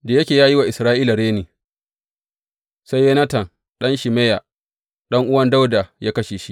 Da ya yi wa Isra’ila reni, sai Yonatan ɗan Shimeya, ɗan’uwa Dawuda, ya kashe shi.